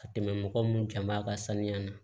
Ka tɛmɛ mɔgɔ minnu jama ka sanuya na